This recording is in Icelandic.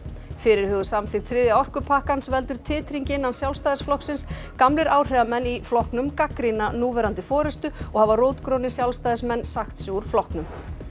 fyrirhuguð samþykkt þriðja orkupakkans veldur titringi innan Sjálfstæðisflokksins gamlir áhrifamenn í flokknum gagnrýna núverandi forystu og hafa rótgrónir Sjálfstæðismenn sagt sig úr flokknum